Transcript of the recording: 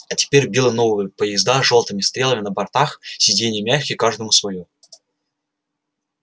а теперь белые новые поезда с жёлтыми стрелами на бортах сиденья мягкие каждому своё